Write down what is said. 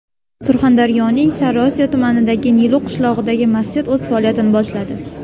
Surxondaryoning Sariosiyo tumanidagi Nilu qishlog‘idagi masjid o‘z faoliyatini boshladi.